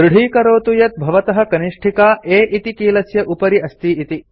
दृढीकरोतु यत् भवतः कनिष्ठिका A इति कीलस्य उपरि अस्ति इति